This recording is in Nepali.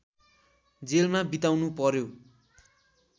जेलमा बिताउनुपर्‍यो